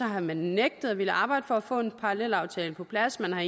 har man nægtet at ville arbejde for at få en parallelaftale på plads man har